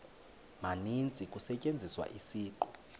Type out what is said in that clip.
maninzi kusetyenziswa isiqu